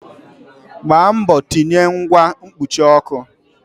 Gbaa mbọ tinye ngwa mkpuchi ọkụ!